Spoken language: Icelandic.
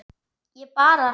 Ég bara.